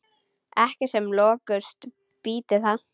Ekki sem lökust býti það.